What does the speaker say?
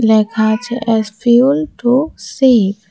লেখা আছে S fuel to save.